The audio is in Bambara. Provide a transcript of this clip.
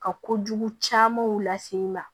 Ka kojugu camanw lase i ma